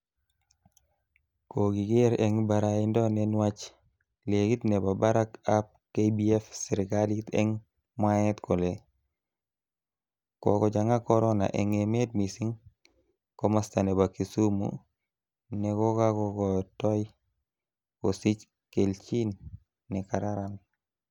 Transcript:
Kokiker eng baraindo nenwach ligit nebo barak ab KBF serkalit eng mwaet kole kokochang'a corona eng emet mising ko masta nebo Kisumu nekokakotoi kosich kelchin nekararan.